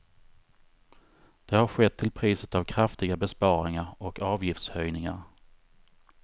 Det har skett till priset av kraftiga besparingar och avgiftshöjningar.